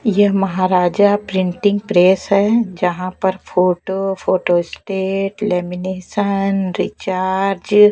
यह Maharaja printing press है जहाँ पर photo photostat lamination recharge --